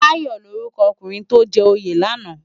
Dayo lórúkò òkúnrin tó jè óyé làná?